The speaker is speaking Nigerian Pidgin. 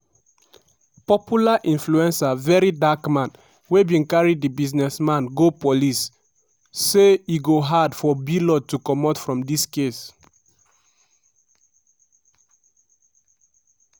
popular influencer verydarkman wey bin carry di businessman go police say ‘’e go hard for blord to comot from dis case.’’